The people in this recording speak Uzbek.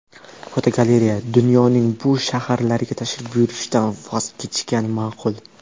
Fotogalereya: Dunyoning bu shaharlariga tashrif buyurishdan voz kechgan ma’qul .